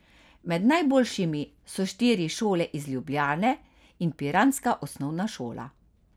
Med najboljšimi so štiri šole iz Ljubljane in piranska osnovna šola.